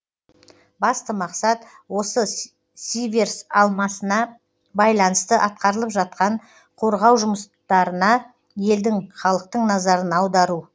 басты мақсат осы сиверс алмасына байланысты атқарылып жатқан қорғау жұмыстарына елдің халықтың назарын аудару